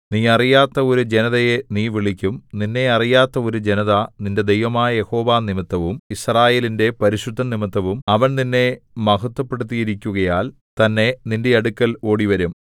നീ അറിയാത്ത ഒരു ജനതയെ നീ വിളിക്കും നിന്നെ അറിയാത്ത ഒരു ജനത നിന്റെ ദൈവമായ യഹോവ നിമിത്തവും യിസ്രായേലിന്റെ പരിശുദ്ധൻ നിമിത്തവും അവൻ നിന്നെ മഹത്ത്വപ്പെടുത്തിയിരിക്കുകയാൽ തന്നെ നിന്റെ അടുക്കൽ ഓടിവരും